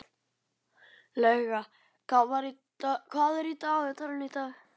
Lauga, hvað er í dagatalinu í dag?